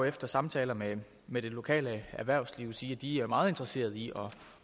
efter samtaler med med det lokale erhvervsliv sige at de er meget interesseret i